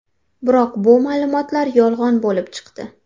Biroq bu ma’lumotlar yolg‘on bo‘lib chiqdi.